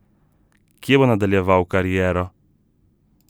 Kje bo nadaljeval kariero?